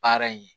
Baara in